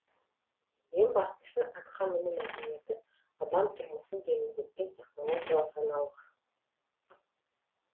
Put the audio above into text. ең бастысы атқа міну мәдениеті адам тұрмысын жеңілдеткен технологиялық жаңалық